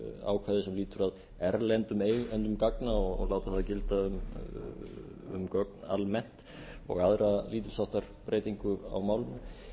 ákvæðið sem lýtur að erlendum eigendum gagna og láta það gilda um gögn almennt og aðra lítils háttar breytingu á málinu